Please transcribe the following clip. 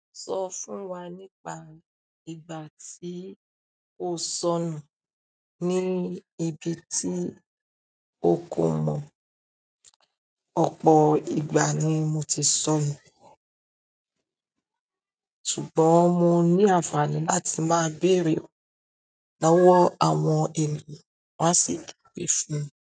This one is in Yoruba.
Sọ fún wa nípa ìgbà tí o sọnù ni ibi tí o kò mọ̀. Ọ̀pọ̀ ìgbà ni mo ti sọnù, ṣùgbọ́n mo ní àǹfààní láti máa béèrè lọ́wọ́ àwọn ènìyàn won á sì ju we fún mi.